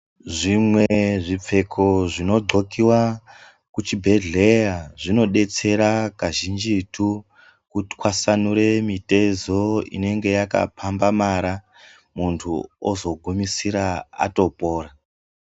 Zvimwe zvipfeko zvidhlokiwa kuchibhehleya zvinodetsera kazhinjitu kutwasanure mitezo inonga yakapambamara munhu ozogumisira atopora.